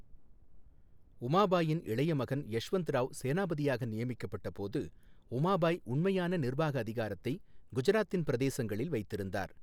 உமாபாயின் இளைய மகன் யஷ்வந்த் ராவ் சேனாபதியாக நியமிக்கப்பட்டபோது, உமாபாய் உண்மையான நிர்வாக அதிகாரத்தை குஜராத்தின் பிரதேசங்களில் வைத்திருந்தார்.